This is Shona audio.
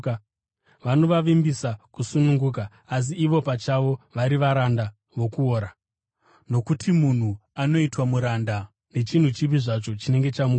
Vanovavimbisa kusununguka, asi ivo pachavo vari varanda vokuora, nokuti munhu anoitwa muranda nechinhu chipi zvacho chinenge chamukunda.